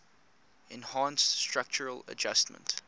enhanced structural adjustment